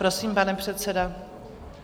Prosím, pane předsedo.